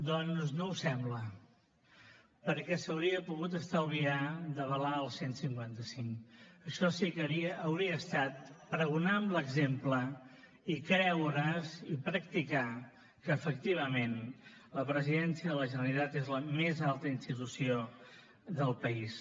doncs no ho sembla perquè s’hauria haver pogut estalviar d’avalar el cent i cinquanta cinc això sí que hauria estat pregonar amb l’exemple i creure’s i practicar que efectivament la presidència de la generalitat és la més alta institució del país